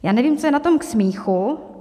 Já nevím, co je na tom k smíchu.